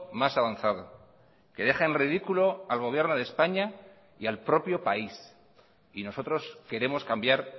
más avanzado que deja en ridículo al gobierno de españa y al propio país y nosotros queremos cambiar